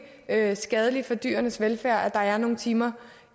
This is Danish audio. er er skadeligt for dyrenes velfærd at der er nogle timer